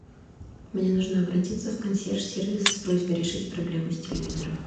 мне нужно обратиться в консьерж сервис с просьбой решить проблему с телевизором